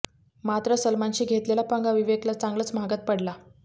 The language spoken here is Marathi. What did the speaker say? मात्र सलमानशी घेतलेला पंगा विवेकला चांगलाच महागात पडला